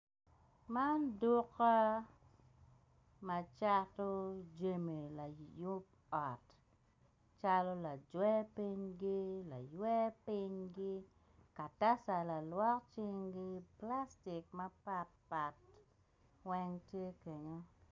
Man duka ma cato jami layub ot calo lajwer pinygi, lacywe pinygi, kataca lalwok cinggi plastik mapat pat weng tye kunu.